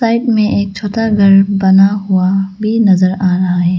Side में एक छोटा घर बना हुआ भी नजर आ रहा है।